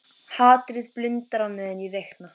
Hatrið blundar á meðan ég reikna.